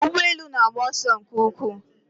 Ụgbọ elu na-agba ọsọ nke ukwuu